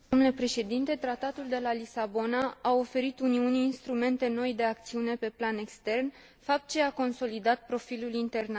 Tratatul de la Lisabona a oferit Uniunii instrumente noi de acțiune pe plan extern, fapt ce a consolidat profilul internațional.